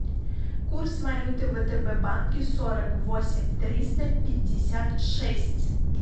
курс валюты в втб банке сорок восемь триста пятьдесят шесть